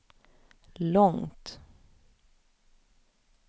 långt